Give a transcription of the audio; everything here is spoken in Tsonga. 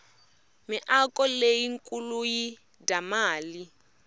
miako leyi nkuluyi dya mali